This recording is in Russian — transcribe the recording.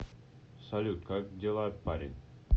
салют как дела парень